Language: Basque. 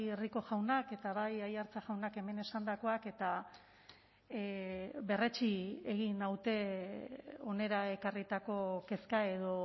rico jaunak eta bai aiartza jaunak hemen esandakoak eta berretsi egin naute hona ekarritako kezka edo